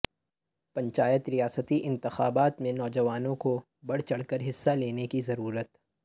پنچایت ریاستی انتخابات میں نوجوانوں کو بڑھ چڑھ کر حصہ لینے کی ضرورت